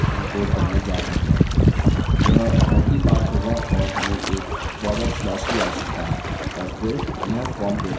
यह multipart होगा और हमें एक फॉरवर्ड स्लैश की आवश्यकता है और फिर यह फॉर्म data होगा